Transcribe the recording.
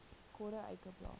quarter acre block